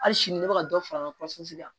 Hali sini ne bɛ ka dɔ fara n ka kan